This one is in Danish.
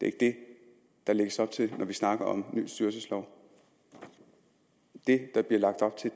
ikke det der lægges op til når vi snakker om ny styrelseslov det der bliver lagt op til